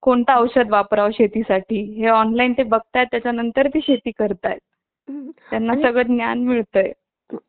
आता तर महागाईचा काही येत नाहीये आणि आता नवीन budget नुसार electronics वर तर जो कर taxes आहे तो वाढवण्यात आलेला आहे थोडाफार जास्त नाही